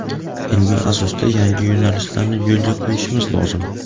ilmiy asosda yangi yo‘nalishlarni yo‘lga qo‘yishimiz lozim.